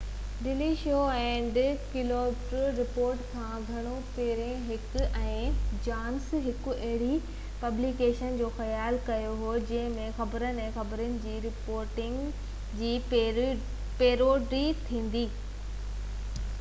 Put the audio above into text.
daily Show ۽ Colbert Report کان گهڻو پهرين هيڪ ۽ جانسن هڪ اهڙي پبليڪيشن جو خيال ڪيو هو جنهن ۾ خبرن—۽ خبرن جي رپورٽنگ جي پيروڊي ٿيندي—جڏهن اهي 1988 ۾ uw جا شاگرد هئا